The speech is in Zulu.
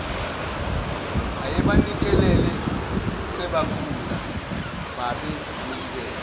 ayebanikelele sebakhula babemlibele